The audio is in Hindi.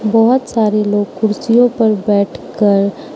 बहोत सारे लोग कुर्सियों पर बैठकर --